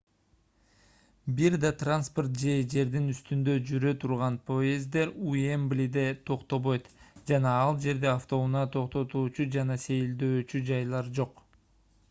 бир да транспорт же жердин үстүндө жүрө турган поезддер уэмблиде токтобойт жана ал жерде автоунаа токтотуучу жана сейилдөөчү жайлар жок